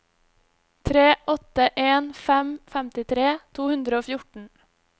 tre åtte en fem femtitre to hundre og fjorten